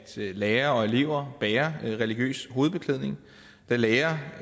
lærere og elever bærer religiøs hovedbeklædning da lærere